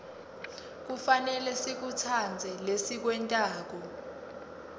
kufanele sikutsandze lesikwentako